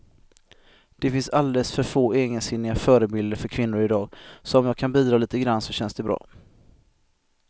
Det finns alldeles för få egensinniga förebilder för kvinnor i dag, så om jag kan bidra lite grann så känns det bra.